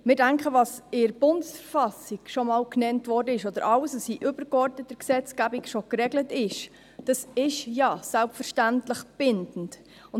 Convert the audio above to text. Wir denken, dass das, was in der BV schon genannt ist, oder alles, was in übergeordneter Gesetzgebung bereits geregelt ist, selbstverständlich bindend ist.